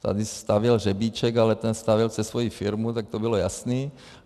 Tady stavěl Řebíček, ale ten stavěl přes svoji firmu, tak to bylo jasný.